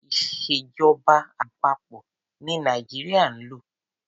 Ìṣèjọba àpapọ̀ ní Nàìjíríà ń lò.